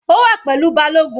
Ó wà pẹ̀lú balogun.